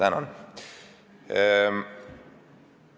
Tänan!